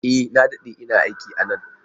E! Na dade ina aiki a nan.